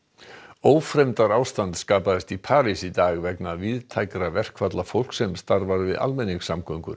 ófremdarástand skapaðist í París í dag vegna víðtækra verkfalla fólks sem starfar við almenningssamgöngur